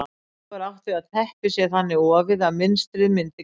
Þá er átt við að teppið sé þannig ofið að mynstrið myndi kafla.